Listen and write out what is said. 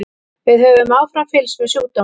Við höfum áfram fylgst með sjúkdómnum.